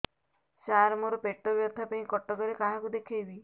ସାର ମୋ ର ପେଟ ବ୍ୟଥା ପାଇଁ କଟକରେ କାହାକୁ ଦେଖେଇବି